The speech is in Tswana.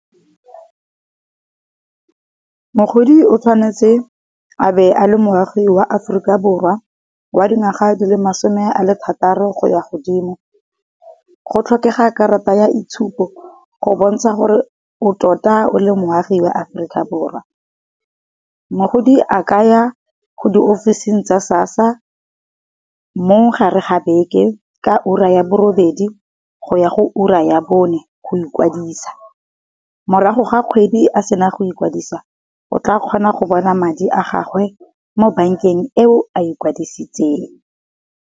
Mogodi o tshwanetse a be a le moagi wa Aforika Borwa wa dingwaga di le masome a le thataro go ya ko godimo, go tlhokega karata ya itshupo go bontsha gore o tota o le moagi wa Aforika Borwa. Mogodi a kaya ko di ofising tsa SASSA mo gare ga beke ka ura ya bo robedi go ya go ura ya bone go ikwadisa. Morago ga kgwedi a sena go ikwadisa o tla kgona go bona madi a gagwe mo bank-eng eo a ikwadisitseng.